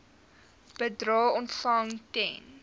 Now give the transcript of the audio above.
bedrae ontvang ten